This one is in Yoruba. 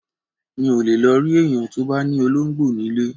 Mi ò lè lọ rí èèyàn tó bá ní olóńgbò nílé